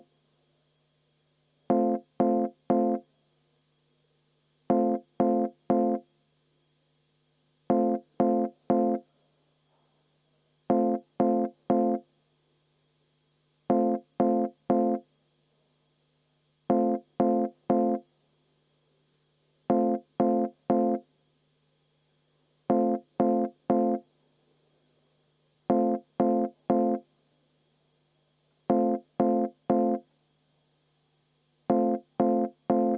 V a h e a e g